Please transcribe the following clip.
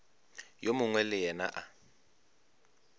yo mongwe le yena a